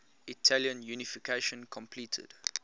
italian unification completed